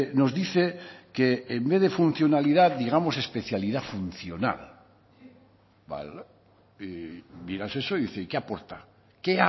nos dice que en vez de funcionalidad digamos especialidad funcional y dirás eso y qué aporta qué